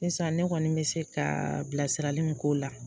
Sisan ne kɔni me se ka bilasiralen min k'o la,